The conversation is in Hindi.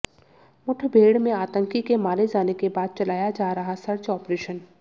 मुठभेड़ में आतंकी के मारे जाने के बाद चलाया जा रहा सर्च ऑपरेशन